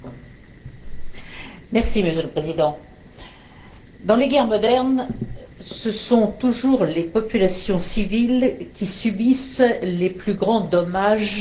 Monsieur le Président, dans les guerres modernes ce sont toujours les populations civiles qui subissent les plus grands dommages humains et matériels.